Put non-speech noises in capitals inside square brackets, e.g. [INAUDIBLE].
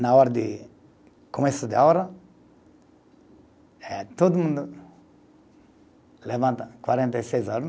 Na hora de, começo da aula, eh todo mundo levanta, quarenta e seis [UNINTELLIGIBLE]